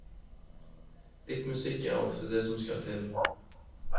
Litt musikk er ofte det som skal til.